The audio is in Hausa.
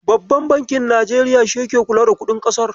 Babban bankin Najeriya shi yake kula da kuɗin ƙasar.